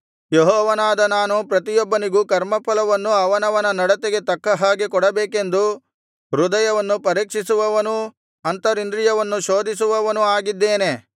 ಯೆಹೋವನಾದ ನಾನು ಪ್ರತಿಯೊಬ್ಬನಿಗೂ ಕರ್ಮಫಲವನ್ನು ಅವನವನ ನಡತೆಗೆ ತಕ್ಕ ಹಾಗೆ ಕೊಡಬೇಕೆಂದು ಹೃದಯವನ್ನು ಪರೀಕ್ಷಿಸುವವನೂ ಅಂತರಿಂದ್ರಿಯವನ್ನು ಶೋಧಿಸುವವನೂ ಆಗಿದ್ದೇನೆ